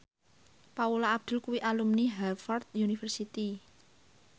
Paula Abdul kuwi alumni Harvard university